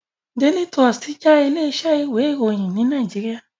Daily Trust jé ilé isẹ́ ìwé ìròyìn ní Naijiria